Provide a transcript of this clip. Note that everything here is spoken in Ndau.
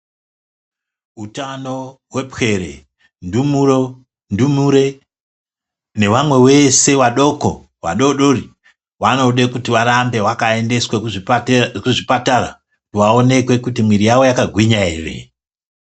Utano hwepwere, ndumuro, ndumure nevamwe vese vadoko vadodori vanode kuti varambe vakaendeswe kuzvipatara vaonekwe kuti mwiri yavo yakagwinya ere.